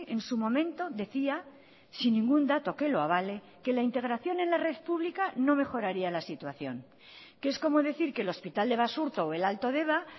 en su momento decía sin ningún dato que lo avale que la integración en la red pública no mejoraría la situación que es como decir que el hospital de basurto o el alto deba